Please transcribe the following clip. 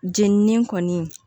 Jenini kɔni